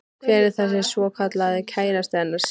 Hver er þessi svokallaði kærasti hennar Sillu?